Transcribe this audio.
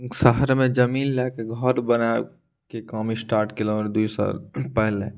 उ शहर में जमीन ले के घर बनावे के काम स्टार्ट कइलो दुई साल पहले।